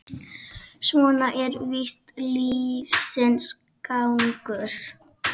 Svona er víst lífsins gangur.